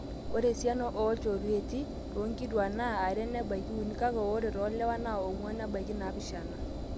ore esiana oolchorueti toonkituaak naa are nebaiki uni kake ore toolewa naa ong'wan nebaiki naapishana